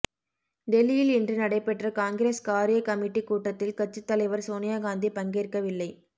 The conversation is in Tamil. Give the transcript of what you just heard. டெல்லியில் இன்று நடைபெற்ற காங்கிரஸ் காரிய கமிட்டி கூட்டத்தில் கட்சித் தலைவர் சோனியா காந்தி பங்கேற்கவில்லை